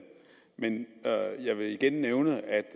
men jeg vil igen nævne at